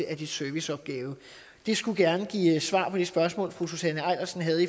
af dets serviceopgave det skulle gerne give svar på det spørgsmål som fru susanne eilersen havde